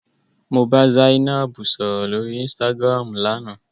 Mo bá Zainab sọ̀rọ̀ lóri Instagram lánàá.